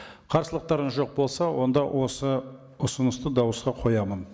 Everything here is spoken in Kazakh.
қарсылықтарыңыз жоқ болса онда осы ұсынысты дауысқа қоямын